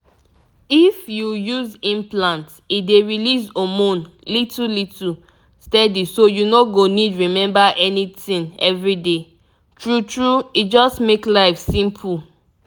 if you use implant e dey release hormone little little steady so you no go need remember anything every day. true true e just make life simple.